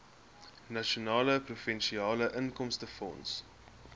nasionale provinsiale inkomstefonds